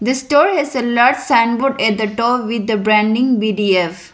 the store has a large sandwood at the top with the branding B_D_F.